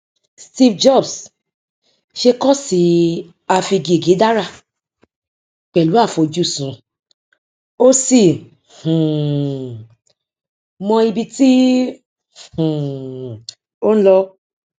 steve jobs ṣe kọọsìafigègédárà pẹlú àfojúsùn ó sì um mọ ibi tí um ó ń lọ